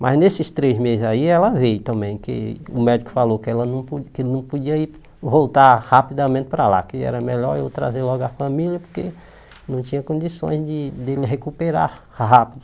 Mas nesses três meses aí, ela veio também, que o médico falou que ela não podi que ele não podia ir voltar rapidamente para lá, que era melhor eu trazer logo a família, porque não tinha condições de ele recuperar rápido.